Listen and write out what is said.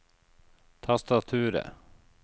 tastaturet